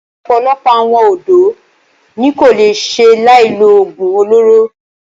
Ọ̀pọ̀lọpọ̀ àwọn ọ̀dọ́ ní kò lè ṣe láì lo oògùn olóró.